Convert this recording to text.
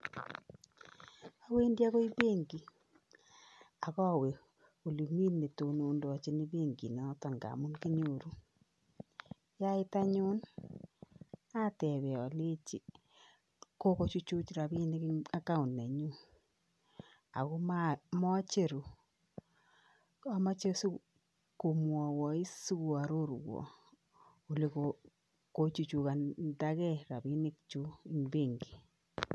Awendi akoi benki akowee olemi nedonondochin benki noto ngamun kinyoru yait anyun atepee alenji kokochuchuch rapinik en account nanyun ako mocheru amoche sikomwaiwois sikoaroruan olekochuchukandage rapinikyuk en benki.